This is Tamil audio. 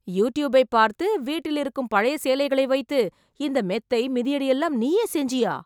யூட்யூபை பார்த்து, வீட்டில் இருக்கும் பழைய சேலைகளை வைத்து, இந்த மெத்தை, மிதியடி எல்லாம் நீயே செஞ்சியா...